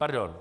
Pardon.